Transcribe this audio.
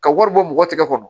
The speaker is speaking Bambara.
Ka wari bɔ mɔgɔ tigɛ kɔnɔ